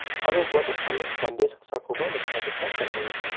aro ua dokano mande saksakoba nikna gita man·enga.